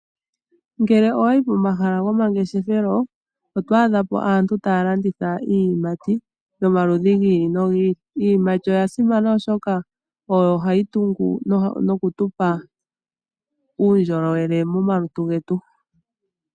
Ngele owayi pomahala gomangeshefelo oto adha po aantu taya landitha iiyimati gomaludhi gi ili nogi ili, iiyamakuti oya simana oshoka oyo hayi tungu noku tupa uundjolowele momaluntu getu.